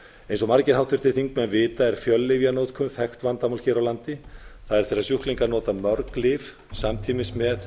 eins og margir háttvirtir þingmenn vita er fjöllyfjanotkun þekkt vandamál hér á landi það er þegar sjúklingar nota mörg lyf samtímis með